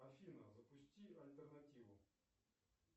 афина запусти альтернативу